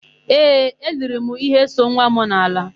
Ee, eIiri m íhé so nwa m n'ala.